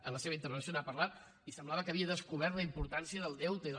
en la seva intervenció n’ha parlat i semblava que havia descobert la importància del deute i del